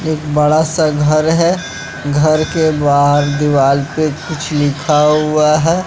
एक बड़ा सा घर है घर के बाहर दीवाल पे कुछ लिखा हुआ है।